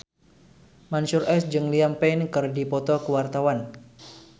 Mansyur S jeung Liam Payne keur dipoto ku wartawan